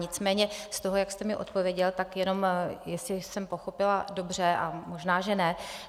Nicméně z toho, jak jste mi odpověděl, tak jenom jestli jsem pochopila dobře, a možná že ne.